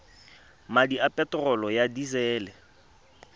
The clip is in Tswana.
madi a peterolo ya disele